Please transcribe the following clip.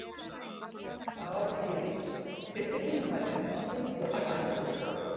Árgils, stilltu tímamælinn á fimmtíu og sex mínútur.